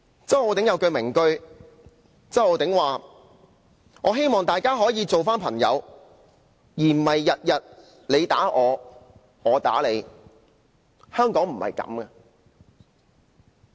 周浩鼎議員有一句名句，他說："我希望大家可以重新做朋友，而不是天天你打我，我打你，香港不是這樣的。